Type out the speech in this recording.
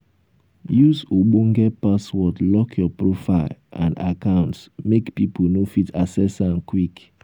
use ogbonge password lock your profile and accounts make pipo no fit access am quick